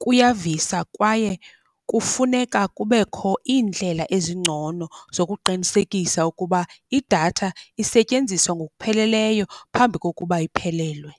kuyavisa, kwaye kufuneka kubekho iindlela ezingcono zokuqinisekisa ukuba idatha isetyenziswa ngokupheleleyo phambi kokuba iphelelwe.